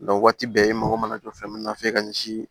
waati bɛɛ e mago mana jɔ fɛn min na f'e ka ɲɛsi